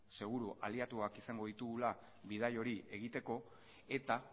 seguru aliatuak izango ditugula bidai hori egiteko eta